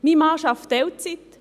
Mein Mann arbeitet Teilzeit.